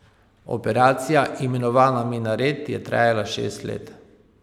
Operacija, imenovana Minaret, je trajala šest let.